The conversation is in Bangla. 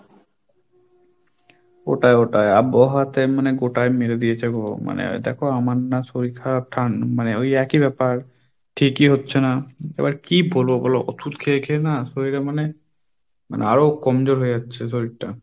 ওটায় ওটায় আবহাওয়াতে মানে গোটায় মেরে দিয়েছে গো মানে দেখো আমার না শরীর খারাপ মানে ওই একই ব্যাপার ঠিকই হচ্ছে না, এবার কি বলবো বলো ওষুধ খেয়ে খেয়ে না শরীরে মানে~ মানে আরো কমজোর হয়ে যাচ্ছে শরীরটা।